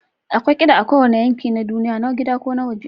Akwai kiɗa a kowane yanki na duniya, na gida ko na waje.